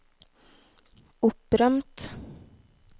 opprømt